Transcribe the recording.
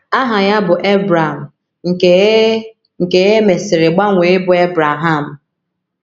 Aha ya bụ Ebram, nke e nke e mesiri gbanwee ịbụ Ebreham.